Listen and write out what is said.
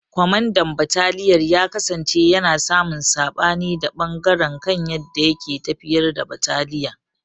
Kwamandan bataliyar ya kasance yana samun sabani da ɓangaren kan yadda yake tafiyar da bataliya.